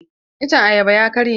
Iccen ayaban ya karye.